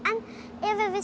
en ef